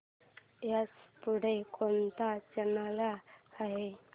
ह्याच्या पुढे कोणता चॅनल आहे